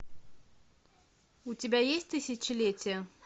у тебя есть тысячелетие